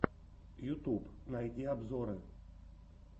ютуб найди обзоры